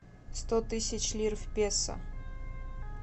сто тысяч лир в песо